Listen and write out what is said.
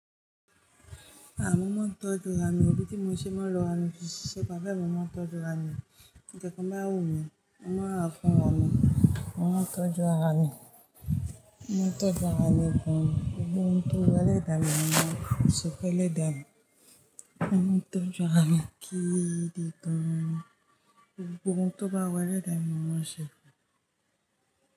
Ah! Mo máa ń tọ́jú ara mi, bí tí mo ṣe máa ń lọ ara mi siṣe, bàyí bẹ́ ni máa ń tọ́jú ara mi. Tí nkan kan bá wù mí, mo máa rà fún ara mí, mo máa ń tọ́jú ara mi. Mo máa ń tọ́jú ara mi gan-an. Gbogbo ohun tó wà lẹ́dà mí máa ń ṣẹfun n lẹ́dà mi. Mo ń tọ́jú ara mi gí i di gan-an. Gbogbo ohun tó bá wù elẹ́dà mi, mo máa ṣẹẹ̀.